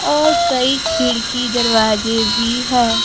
और कई खिड़की दरवाजे भी है।